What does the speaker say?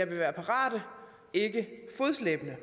vi være parate ikke fodslæbende